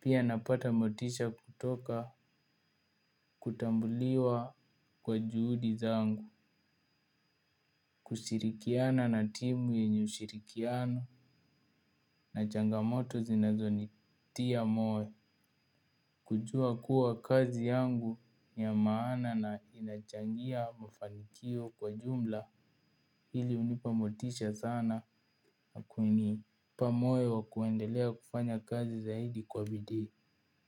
Pia napata motisha kutoka kutambuliwa kwa juhudi zangu. Kushirikiana na timu yenye ushirikiano na changamoto zinazonitia moyo. Kujua kuwa kazi yangu ya maana na inachangia mafanikio kwa jumla hili unipa motisha sana na kuini. Pamoyo wa kuendelea kufanya kazi zaidi kwa bidii.